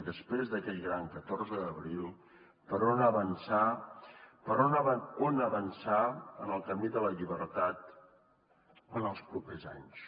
després d’aquell gran catorze d’abril per on avançar en el camí de la llibertat en els propers anys